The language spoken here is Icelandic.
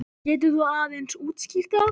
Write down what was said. Getur þú aðeins útskýrt það?